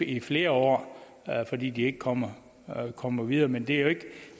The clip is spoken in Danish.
i flere år fordi de ikke kommer kommer videre men det er